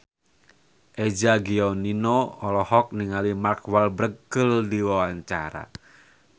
Eza Gionino olohok ningali Mark Walberg keur diwawancara